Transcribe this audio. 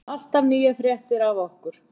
Alltaf nýjar fréttir af okkur.